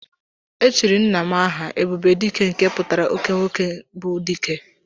Echiri nwanne nna m aha "Ebube dike" nke pụtara Oke nwoke bụ dike